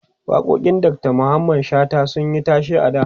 waƙoƙin Dr Mamman shata sunyi tashe a da